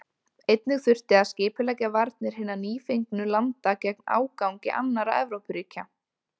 Einnig þurfti að skipuleggja varnir hinna nýfengnu landa gegn ágangi annarra Evrópuríkja.